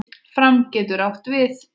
Fram getur átt við